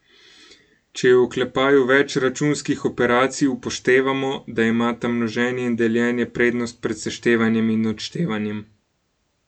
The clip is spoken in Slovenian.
Če je v oklepaju več računskih operacij, upoštevamo, da imata množenje in deljenje prednost pred seštevanjem in odštevanjem.